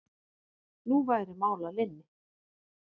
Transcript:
Nú væri mál að linni.